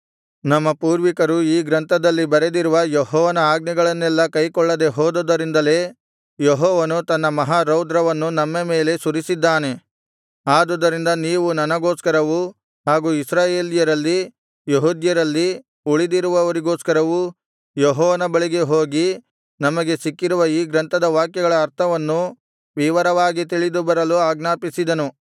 ನಮ್ಮ ಪೂರ್ವಿಕರು ಈ ಗ್ರಂಥದಲ್ಲಿ ಬರೆದಿರುವ ಯೆಹೋವನ ಆಜ್ಞೆಗಳನ್ನೆಲ್ಲಾ ಕೈಕೊಳ್ಳದೆ ಹೋದುದರಿಂದಲೇ ಯೆಹೋವನು ತನ್ನ ಮಹಾರೌದ್ರವನ್ನು ನಮ್ಮ ಮೇಲೆ ಸುರಿದಿದ್ದಾನೆ ಆದುದರಿಂದ ನೀವು ನನಗೋಸ್ಕರವೂ ಹಾಗೂ ಇಸ್ರಾಯೇಲ್ಯರಲ್ಲಿ ಯೆಹೂದ್ಯರಲ್ಲಿ ಉಳಿದಿರುವವರಿಗೋಸ್ಕರವೂ ಯೆಹೋವನ ಬಳಿಗೆ ಹೋಗಿ ನಮಗೆ ಸಿಕ್ಕಿರುವ ಈ ಗ್ರಂಥದ ವಾಕ್ಯಗಳ ಅರ್ಥವನ್ನು ವಿವರವಾಗಿ ತಿಳಿದು ಬರಲು ಆಜ್ಞಾಪಿಸಿದನು